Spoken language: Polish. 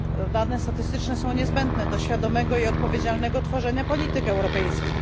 Dane statystyczne są niezbędne do świadomego i odpowiedzialnego tworzenia polityk europejskich.